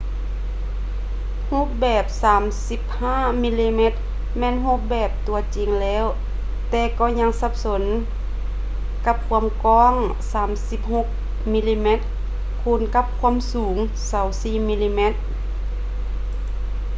ຮູບແບບ 35ມມ ແມ່ນຮູບແບບຕົວຈິງແລ້ວ ແຕ່ກໍຍັງສັບສົນກັບ ຄວາມກວ້າງ 36ມມ ຄູນກັບ ຄວາມສູງ 24 ມມ